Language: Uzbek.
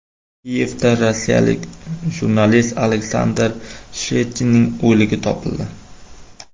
Kiyevda rossiyalik jurnalist Aleksandr Shchetininning o‘ligi topildi.